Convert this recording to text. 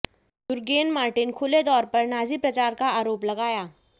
Jurgen Martin खुले तौर पर नाजी प्रचार का आरोप लगाया